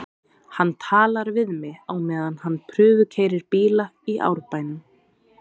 Hann talar við mig á meðan hann prufukeyrir bíla í Árbænum.